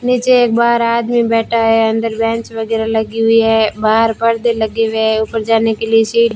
नीचे एक बाहर आदमी बैठा है अंदर बेंच वगैरा लगी हुई है बाहर परदे लगे हुए हैं ऊपर जाने के लिए सी --